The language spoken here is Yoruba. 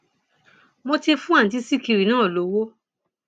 mo ti fún àǹtí sìkìrì náà lọwọ